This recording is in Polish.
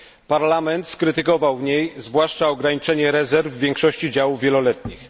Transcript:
Parlament skrytykował w niej zwłaszcza ograniczenie rezerw w większości działów wieloletnich.